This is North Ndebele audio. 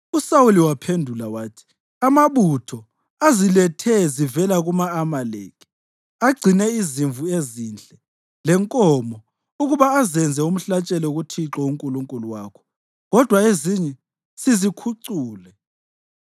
USawuli waphendula wathi, “Amabutho azilethe zivela kuma-Amaleki; agcine izimvu ezinhle lenkomo ukuba azenze umhlatshelo kuThixo uNkulunkulu wakho, kodwa ezinye sizikhucule.”